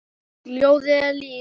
Ljóðið er líf.